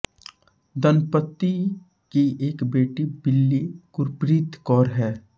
दंपति की एक बेटी बिली गुरप्रीत कौर है